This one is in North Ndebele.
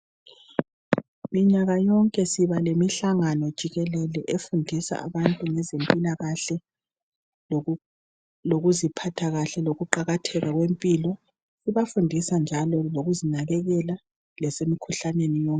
Minyaka yonke siba lemihlangano jikelele efundisa abantu ngezempilakahle lokuziphatha kahle , lokuqakatheka kwempilo ibafundisa njalo lokuzinakekela lasemkhuhlaneni yonke.